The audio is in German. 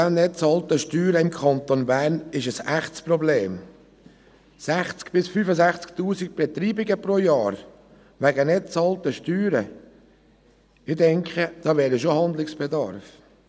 60 000 bis 65 000 Betreibungen pro Jahr wegen nicht bezahlter Steuern – ich denke, hier bestünde ein Handlungsbedarf.